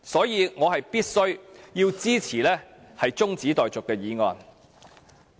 因此，我必須支持中止待續的議案。